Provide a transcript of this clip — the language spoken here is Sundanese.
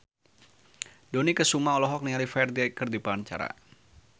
Dony Kesuma olohok ningali Ferdge keur diwawancara